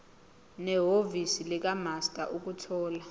nehhovisi likamaster ukuthola